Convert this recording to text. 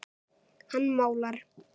Hann málar.